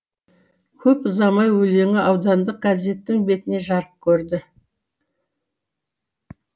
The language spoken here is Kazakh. көп ұзамай өлеңі аудандық газеттің бетіне жарық көрді